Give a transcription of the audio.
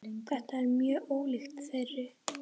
Þetta er mjög ólíkt þeirri